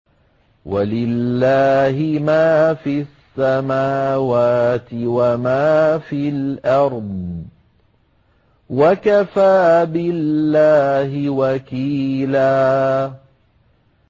وَلِلَّهِ مَا فِي السَّمَاوَاتِ وَمَا فِي الْأَرْضِ ۚ وَكَفَىٰ بِاللَّهِ وَكِيلًا